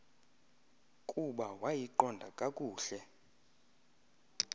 kuba wayiqonda kakuhle